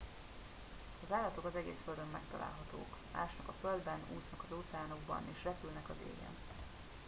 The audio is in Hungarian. az állatok az egész földön megtalálhatók ásnak a földben úsznak az óceánokban és repülnek az égen